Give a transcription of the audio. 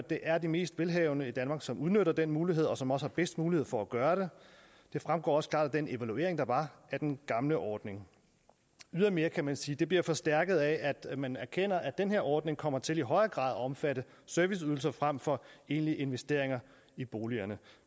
det er de mest velhavende i danmark som udnytter den mulighed og som også har bedst mulighed for at gøre det det fremgår også klart af den evaluering der var af den gamle ordning ydermere kan man sige at det bliver forstærket af at man erkender at den her ordning kommer til i højere grad at omfatte serviceydelser frem for egentlige investeringer i boligerne